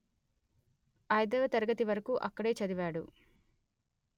ఐదవ తరగతి వరకు అక్కడే చదివాడు